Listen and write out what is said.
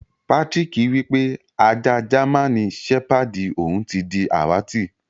Patrick wípé ajá jáman sepàdí òun ti di àwàtì.